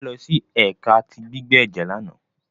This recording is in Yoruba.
Mofe losi ẹka ti gbigbe ẹjẹ làná